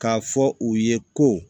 K'a fɔ u ye ko